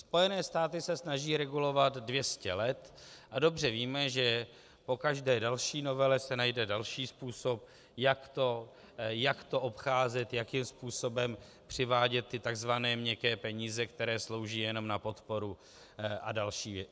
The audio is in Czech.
Spojené státy se snaží regulovat 200 let a dobře víme, že po každé další novele se najde další způsob, jak to obcházet, jakým způsobem přivádět ty tzv. měkké peníze, které slouží jenom na podporu, a další věci.